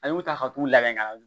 An y'u ta ka t'u labɛn ka na